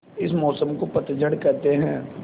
इस मौसम को पतझड़ कहते हैं